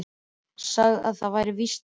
Sagði að það væri víst best.